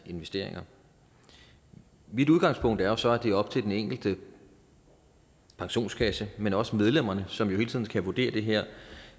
investeringer mit udgangspunkt er jo så at det er op til enkelte pensionskasse men også medlemmerne som jo hele tiden kan vurdere det her